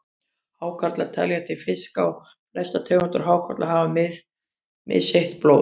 Hákarlar teljast til fiska og flestar tegundir hákarla hafa misheitt blóð.